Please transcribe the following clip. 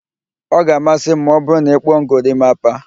Ọ ga-amasị m ma ọ bụru na ị kpụọ m gorimapa